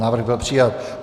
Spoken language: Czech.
Návrh byl přijat.